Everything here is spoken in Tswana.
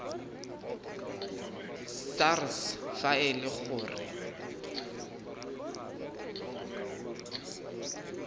sars fa e le gore